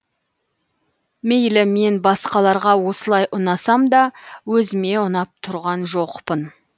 мейлі мен басқаларға осылай ұнасам да өзіме ұнап тұрған жоқпын